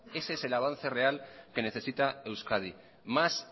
ese es el avance real que necesita euskadi más